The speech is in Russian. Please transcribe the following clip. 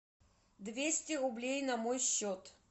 двести рублей на мой счет